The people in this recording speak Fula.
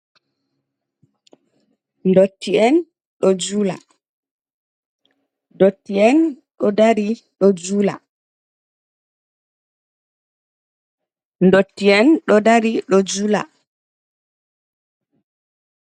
Ndotti'en ɗo jula. Ndotti'en ɗo dari ɗo jula. Ndotti'en ɗo dari ɗo jula.